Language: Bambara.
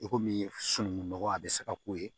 I komi sunukunnɔgɔ a bɛ se ka k'o ye